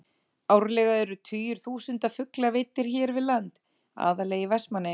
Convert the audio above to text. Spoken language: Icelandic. Árlega eru tugir þúsunda fugla veiddir hér við land, aðallega í Vestmannaeyjum.